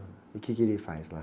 E o quê que ele faz lá?